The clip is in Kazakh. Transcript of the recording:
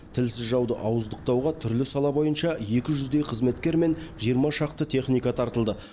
тілсіз жауды ауыздықтауға түрлі сала бойынша екі жүздей қызметкер мен жиырма шақты техника тартылды